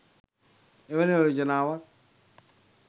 එවැනි යෝජනාවක්